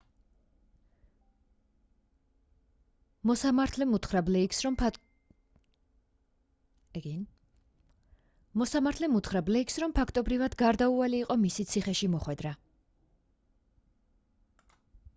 მოსამართლემ უთხრა ბლეიქს რომ ფაქტობრივად გარდაუვალი იყო მისი ციხეში მოხვედრა